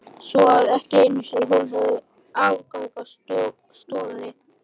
Svo að ekki einu sinni hún hefur aðgang að stofunni?